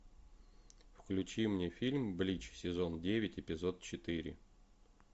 включи мне фильм блич сезон девять эпизод четыре